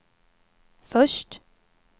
först